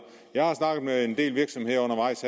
jeg har snakket med en del virksomheder undervejs